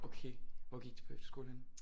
Okay hvor gik du på efterskole henne